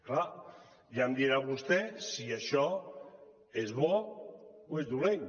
clar ja em dirà vostè si això és bo o és dolent